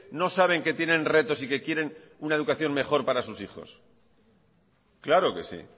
no saben que tienen retos y que quieren una educación mejor para sus hijos claro que sí